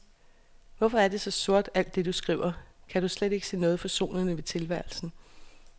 Hvorfor er det så sort, alt det du skriver, kan du slet ikke se noget forsonende ved tilværelsen?